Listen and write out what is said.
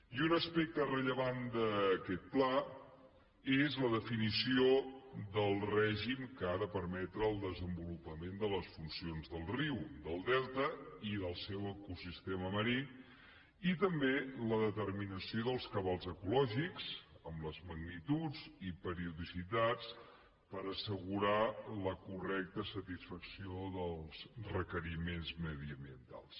i un aspecte rellevant d’aquest pla és la definició del règim que ha de permetre el desenvolupament de les funcions del riu del delta i del seu ecosistema marí i també la determinació dels cabals ecològics amb les magnituds i periodicitats per assegurar la correcta satisfacció dels requeriments mediambientals